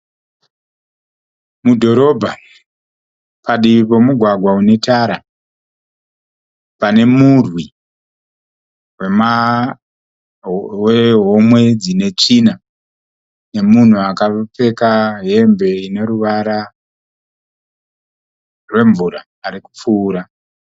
Mudhorobha, padivi pomugwagwa une tara, pane murwi wehomwe dzine tsvina nomunhu akapfeka hembe ino ruvara rwemvura ari kupfuura.